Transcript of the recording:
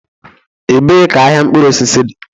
Ebee ka ahịa mkpụrụ osisi dị?